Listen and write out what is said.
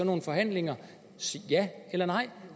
nogle forhandlinger ja eller nej